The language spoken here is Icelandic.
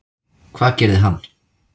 Hvað gerði hann?